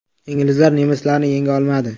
Inglizlar nemislarni yenga olmadi.